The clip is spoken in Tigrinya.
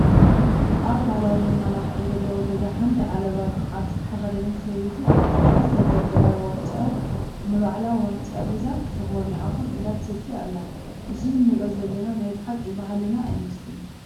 ኣብ ባህላዊ መመላክዒ ዘለዎ ገዛ ሓንቲ ዓለባ ዓዲ ዝተኸደነት ሰበይቲ ኣብ ጥቓ ዝተደርደረ ዋንጫ ንባዕላ ምንጫ ሒዛ ተኾርኒዓ ኮፍ ኢላ ትሰቲ ኣላ፡፡ እዚ ንሪኦ ዘለና ናይ ብሓቂ ባህልና ኣይመስለንን፡፡